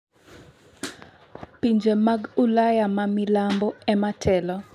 Pinje mag Ulaya ma milambo ema telo.